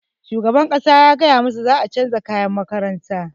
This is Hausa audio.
Shugaban makaranta ya gaya masu za a canza kayan makarantar su